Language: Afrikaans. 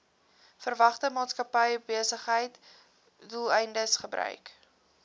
verwante maatskappybesigheidsdoeleindes gebruik